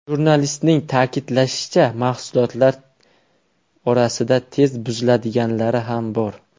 Jurnalistning ta’kidlashicha, mahsulotlar orasida tez buziladiganlari ham bor.